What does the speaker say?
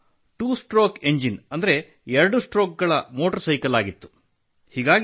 ಅದು ಎರಡು ಸ್ಟ್ರೋಕ್ ಗಳ ಮೋಟಾರ್ ಸೈಕಲ್ ಆಗಿತ್ತು